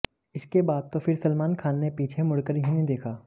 इसके बाद तो फिर सलमान खान ने पीछे मुड़कर ही नहीं देखा